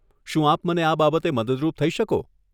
શું આપ મને આ બાબતે મદદરૂપ થઇ શકો?